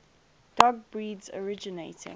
dog breeds originating